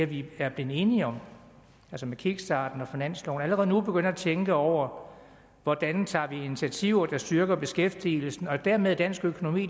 vi er blevet enige om altså med kickstarten og finansloven at vi allerede nu begynder at tænke over hvordan vi tager initiativer der styrker beskæftigelsen og dermed dansk økonomi